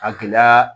A gɛlɛya